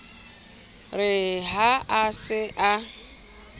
re ha a se a